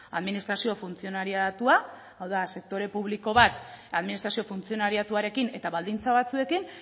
administrazio funtzionariatua hau da sektore publiko bat administrazio funtzionariatuarekin eta baldintza batzuekin